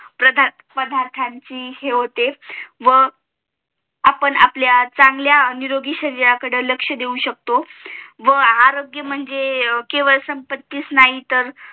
पदार्थांची हे होते व अं आपण आपल्या चांगल्या निरोगी शरीराकडे लक्ष देऊ शकतो व आरोग्य म्हणजे केवळ संपत्तीचं आंही तर